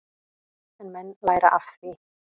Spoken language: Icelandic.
En menn læra af því.